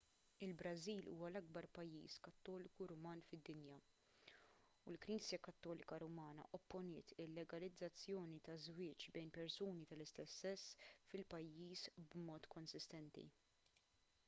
il-brażil huwa l-akbar pajjiż kattoliku ruman fid-dinja u l-knisja kattolika rumana opponiet il-legalizzazzjoni taż-żwieġ bejn persuni tal-istess sess fil-pajjiż b'mod konsistenti